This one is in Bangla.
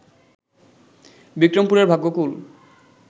বিক্রমপুরের ভাগ্যকুল